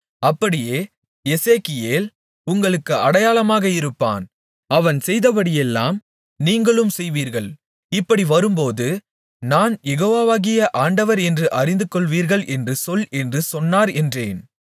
அப்படியே எசேக்கியேல் உங்களுக்கு அடையாளமாக இருப்பான் அவன் செய்தபடி எல்லாம் நீங்களும் செய்வீர்கள் இப்படி வரும்போது நான் யெகோவாகிய ஆண்டவர் என்று அறிந்துகொள்வீர்கள் என்று சொல் என்று சொன்னார் என்றேன்